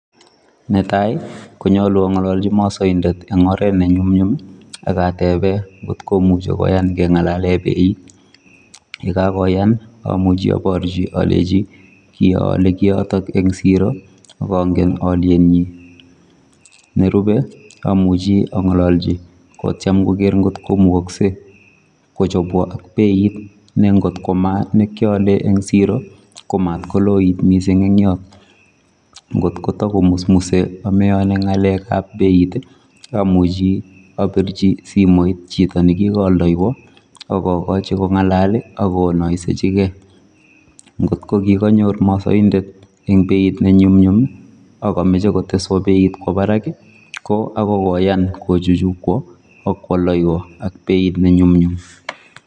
Netai ii konyaluu angalaljii masaindet en oret ne nyumnyum ii akatebeen ngoot komuchei kengalal kotomah akoot kengalal beit ,ye kagoyaan ii amuchi abarjii alechini kin ayale kiiy yotoon en siro ak angeen aliet nyiin nerupei amuchi angalaljii kotyeem komukaksei koot ko mait ele kilaen en siroo kot mat koloit missing eng Yoon, ngoot ko Tako musmusei ameyani ngalek ab beit ii amuchi aborjii simoit chitoo nekikaaldeywaan ak agachii kongalal ii ak kinaisejii kei ngoot ko kikonyoor masaindet en beit be nyumnyum ii ak amache koteswaan beit kowaaa Barak ii koyaan kochuchuj kwaa ibaak koyaldewaan ak beit be nyumnyum.